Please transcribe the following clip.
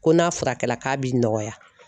Ko n'a furakɛla k'a b'i nɔgɔya